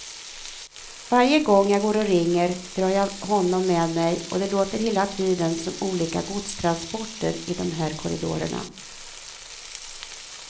Varje gång jag går och ringer drar jag honom med mig, och det låter hela tiden som olika godstransporter i de här korridorerna.